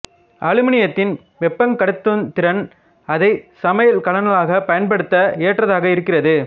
அலுமினியத்தின் வெப்பங் கடத்தும் திறன் அதை சமையல் கலன்களாகப் பயன்படுத்த ஏற்றதாக இருக்கிறது